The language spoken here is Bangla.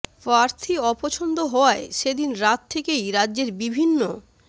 প্রার্থী অপছন্দ হওয়ায় সে দিন রাত থেকেই রাজ্যের বিভিন্ন